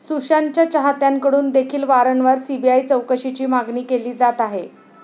सुशांतच्या चाहत्यांकडून देखील वारंवार सीबीआय चौकशीची मागणी केली जात आहे.